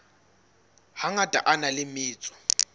hangata a na le metso